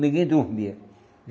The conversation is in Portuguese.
Ninguém dormia.